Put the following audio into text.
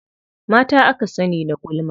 Mata aka sani da gulma.